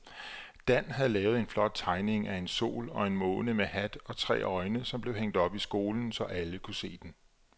Dan havde lavet en flot tegning af en sol og en måne med hat og tre øjne, som blev hængt op i skolen, så alle kunne se den.